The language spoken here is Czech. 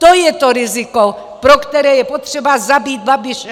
To je to riziko, pro které je potřeba zabít Babiše.